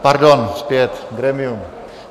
Pardon, zpět, grémium...